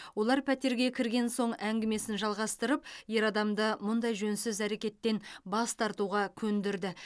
олар пәтерге кірген соң әңгімесін жалғастырып ер адамды мұндай жөнсіз әрекеттен бас тартуға көндірді